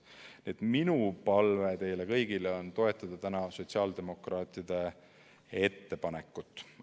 Nii et minu palve teile kõigile on toetada täna sotsiaaldemokraatide ettepanekut.